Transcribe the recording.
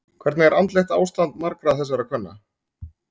Hvernig er andlegt ástand margra þessara kvenna?